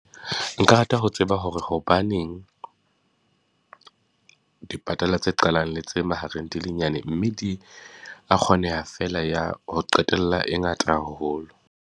Nka rata ho tseba hore hobaneng dipatala tse qalang le tse mahareng di le nyane, mme di a kgoneha ya ho qetela e ngata haholo.